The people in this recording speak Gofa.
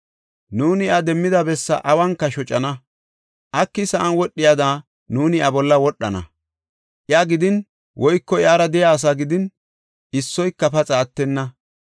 Nuuni iya demmida bessa awunka shocana; aki sa7an wodhiyada nuuni iya bolla wodhana. Iya gidin woyko iyara de7iya asaa gidin issoyka paxa attenna.